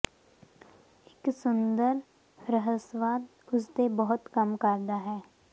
ਇੱਕ ਸੁੰਦਰ ਰਹੱਸਵਾਦ ਉਸ ਦੇ ਬਹੁਤ ਕੰਮ ਕਰਦਾ ਹੈ